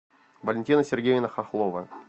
валентина сергеевна хохлова